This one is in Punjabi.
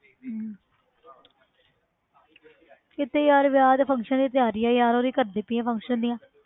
ਹਮ ਕਿੱਥੇ ਯਾਰ ਵਿਆਹ ਦੇ function ਦੀ ਤਿਆਰੀ ਆ ਯਾਰ, ਉਹ ਹੀ ਕਰਦੀ ਪਈ ਹਾਂ function ਦੀਆਂ,